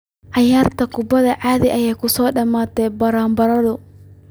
Ciyaarta kubadda cagta ayaa kusoo dhamaatay barbaro.